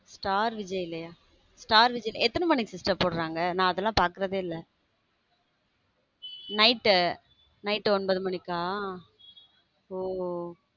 star Vijay இல்லையா Star Vijay எத்தனை மணிக்கு sister போடுறாங்க நான் அதெல்லாம் பார்க்கிறதே இல்ல நைட்டு நைட்டு ஒன்பது மணிக்க ஓஹ